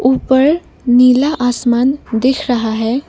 ऊपर नीला आसमान दिख रहा है।